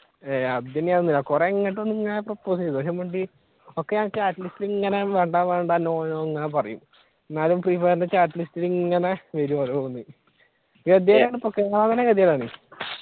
ഏയ് അത് ഇനി ഒന്നുല്ല കുറെ ഇങ്ങോട്ട് വന്ന് propose ചെയ്തു പക്ഷെ മിണ്ടി ഒക്കെ ഞാൻ chat ലിസ്റ്റിൽ വേണ്ട വേണ്ട no no എന്നാ പറയും എന്നാലും ഫ്രീഫയറിന്റെ chat ലിസ്റ്റിൽ ഇങ്ങനെ വരും ഓരോന്ന്‌ ആണ്.